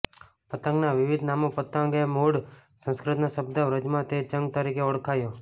પતંગના વિવિધ નામો પતંગ એ મૂળ સંસ્કૃતનો શબ્દ વ્રજમાં તે ચંગ તરીકે ઓળખાયો